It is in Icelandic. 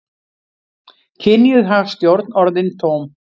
Kynjuð hagstjórn orðin tóm